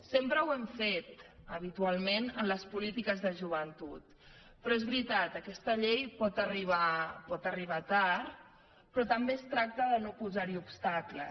sempre ho hem fet habitualment en les polítiques de joventut però és veritat aquesta llei pot arribar tard però també es tracta de no posar hi obstacles